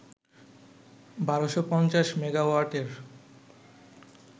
১২৫০ মেগাওয়াটের